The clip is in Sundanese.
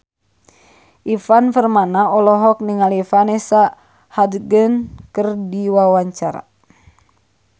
Ivan Permana olohok ningali Vanessa Hudgens keur diwawancara